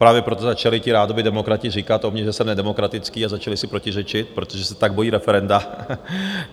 Právě proto začali ti rádoby demokrati říkat o mně, že jsem nedemokratický, a začali si protiřečit, protože se tak bojí referenda.